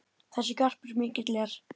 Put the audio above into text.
Þessi garpur mikill er.